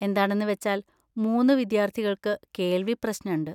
എന്താണെന്ന് വെച്ചാൽ മൂന്ന് വിദ്യാർത്ഥികൾക്ക് കേൾവി പ്രശ്‌നണ്ട്.